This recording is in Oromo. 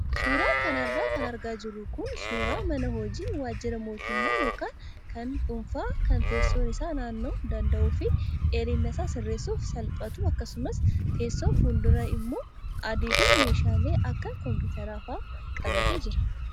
Suuraa kanarra kan argaa jirru kun suuraa mana hojii waajjira mootummaa yookaan kan dhuunfaa kan teessoon isaa naanna'uu danda'u fi dheerina isaa sirreessuuf salphatu akkasumas teessoon fuulduraa immoo adii fi meeshaalee akka kompiitaraa fa'aa qabatee jira.